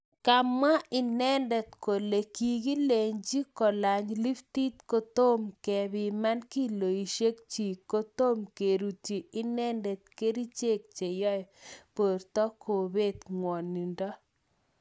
Kamwa inende kole kikilenchi kolany liftit kotom kepiman kiloishekchik kotom kerutyi inendet kerichek cheyoe borto kobet ngwonindo